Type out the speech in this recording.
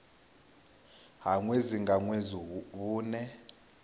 ha ṅwedzi nga ṅwedzi vhune